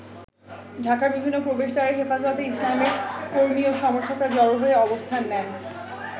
ঢাকার বিভিন্ন প্রবেশদ্বারে হেফাজতে ইসলামের কর্মি ও সমর্থকরা জড়ো হয়ে অবস্থান নেন।